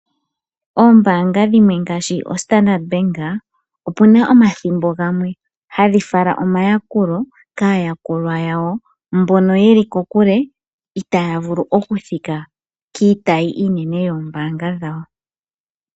Oombaanga dhimwe ngaashi Standard Bank, opuna omathimbo gamwe hadhi fala omayakulo kaayalulwa yawo mbono yeli kokule, itaaya vulu okuthika kiitayi yoombaanga dhawo.